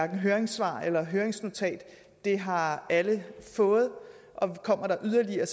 høringssvar eller høringsnotat det har alle fået og kommer der yderligere